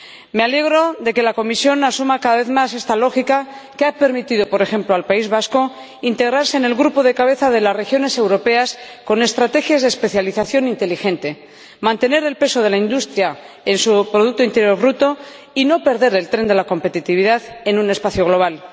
Me alegro de que la Comisión asuma cada vez más esta lógica, que ha permitido, por ejemplo al País Vasco, integrarse en el grupo de cabeza de las regiones europeas con estrategias de especialización inteligente, mantener el peso de la industria en su producto interior bruto y no perder el tren de la competitividad en un espacio global.